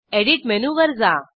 edit मेनूवर जा